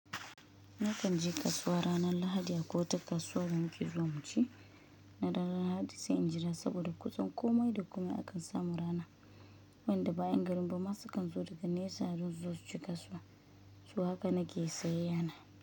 Na kan je kasuwa ranar Lahadi a kwai wata kasuwar da mu ke zuwa mu ci. Na daren Lahadi sai in jira saboda kusan komai da kumai akan samu rana. Wanda ba'in garin ba ma su kan zo daga nesa don su zo su ci kasuwa. So haka nake siyay yana.